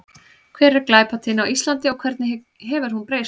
Hver er glæpatíðni á Íslandi og hvernig hefur hún breyst?